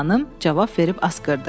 Virt xanım cavab verib asqırdı.